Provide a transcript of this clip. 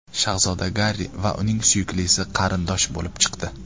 Shahzoda Garri va uning suyuklisi qarindosh bo‘lib chiqdi.